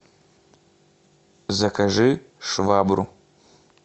закажи швабру